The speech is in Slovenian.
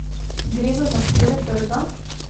Gre za zahteve trga?